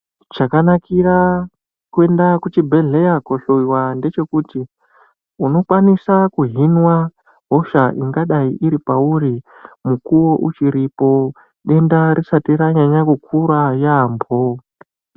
Chakanakira kuenda kuzvibhedhlera kunohloyiwa ngevhekuti inokona kuhinwa hosha ingadai iri pauri mukuwo uchiripo denta risati ranyanya kukura yambo.